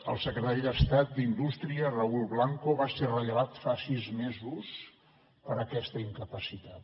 el secretari d’estat d’indústria raül blanco va ser rellevat fa sis mesos per aquesta incapacitat